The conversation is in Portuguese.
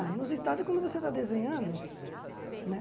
Ah, inusitado é quando você está desenhando, né?